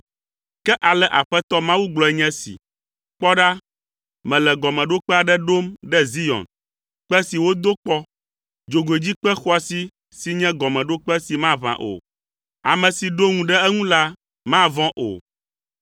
Ke ale Aƒetɔ Mawu gblɔe nye esi, “Kpɔ ɖa, mele gɔmeɖokpe aɖe ɖom ɖe Zion, kpe si wodo kpɔ. Dzogoedzikpe xɔasi si nye gɔmeɖokpe si maʋã o. Ame si ɖo ŋu ɖe eŋu la mavɔ̃ o.